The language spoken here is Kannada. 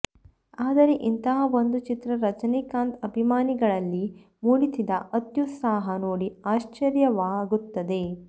ಆದರೂ ಇಂತಹ ಒಂದು ಚಿತ್ರ ರಜನಿ ಕಾಂತ್ ಅಭಿಮಾನಿಗಳಲ್ಲಿ ಮೂಡಿಸಿದ ಅತ್ಯುತ್ಸಾಹ ನೋಡಿ ಆಶ್ಚರ್ಯವಾ ಗುತ್ತದೆ